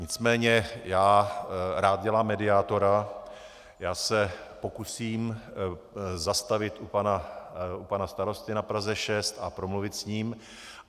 Nicméně já rád dělám mediátora, já se pokusím zastavit u pana starosty na Praze 6 a promluvit s ním.